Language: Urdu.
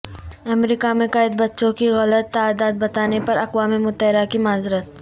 امریکہ میں قید بچوں کی غلط تعداد بتانے پر اقوام متحدہ کی معذرت